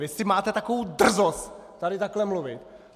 Vy ještě máte takovou drzost tady takhle mluvit!